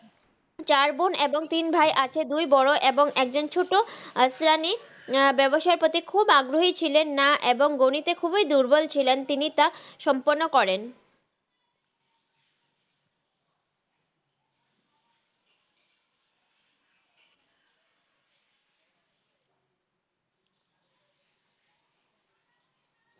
চার বন এবং তিন ভাই আছেন দুই বর এবং আকজন ছট আশ্রানি বাবসায়ির প্রতি খুব আগ্রাহি ছিলেন না এবং গানিতে খুবি দুত্রবাল ছিলেন তিনি টা সম্পুরন করেন